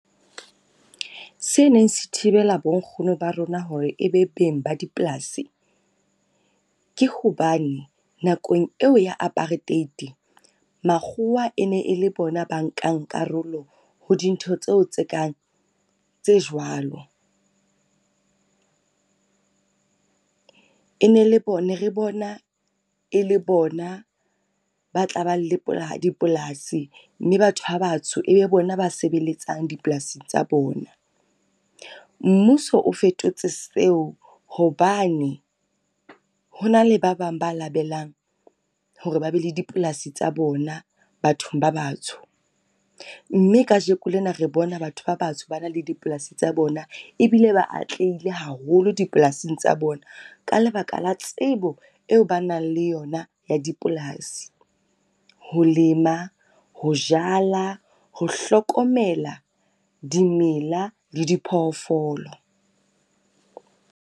Se neng se thibela bo nkgono ba rona hore e be beng ba dipolasi, ke hobane nakong eo ya apartheid makgowa e ne e le bona ba nkang karolo ho dintho tseo tse kang tse jwalo. E ne le bone re bona e le bona ba tla ba le dipolasi mme batho ba batsho e be bona ba sebeletsang dipolasing tsa bona. Mmuso o fetotse seo hobane, ho na le ba bang ba labelang hore ba be le dipolasi tsa bona bathong ba batsho. Mme kajeko lena re bona batho ba batsho ba na le dipolasing tsa bona, ebile ba atlehile haholo dipolasing tsa bona ka lebaka la tsebo eo ba nang le yona ya dipolasi. Ho lema ho jala ho hlokomela dimela le diphoofolo.